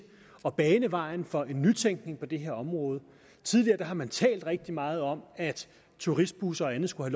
at bane vejen for en nytænkning på det her område tidligere har man talt rigtig meget om at turistbusser og andet skulle